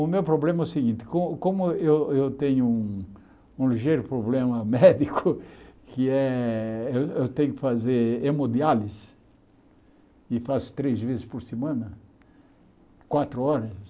O meu problema é o seguinte, como como eu eu tenho um ligeiro problema médico, que é, eu eu tenho que fazer hemodiálise e faço três vezes por semana, quatro horas.